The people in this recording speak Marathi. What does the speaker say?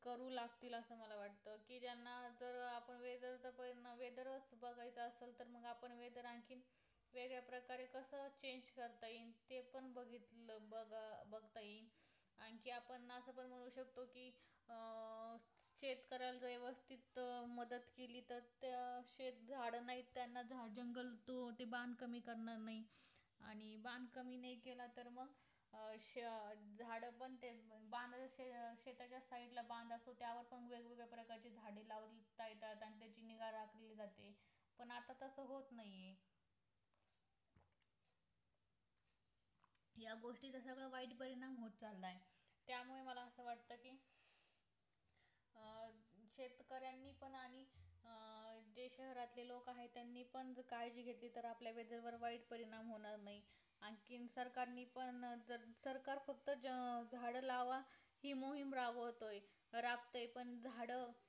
फक्त झाडा लावा हे मोहीम रागावतोय, रागत्ये पण झाड